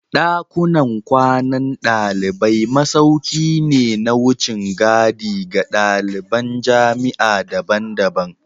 Dakunan kwanan dalibai masauki ne na wucin gadi ga daliban jami'a daban-daban